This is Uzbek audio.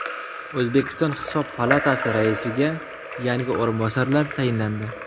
O‘zbekiston Hisob palatasi raisiga yangi o‘rinbosarlar tayinlandi.